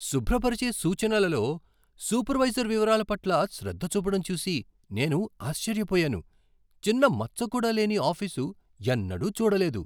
శుభ్రపరిచే సూచనలలో సూపర్వైజర్ వివరాల పట్ల శ్రద్ధ చూపడం చూసి నేను ఆశ్చర్యపోయాను. చిన్న మచ్చకూడా లేని ఆఫీసు ఎన్నడూ చూడలేదు!